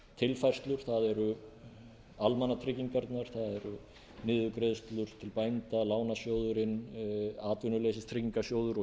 tilfærslur það eru almannatryggingarnar það eru niðurgreiðslur til bænda lánasjóðurinn atvinnuleysistryggingasjóður og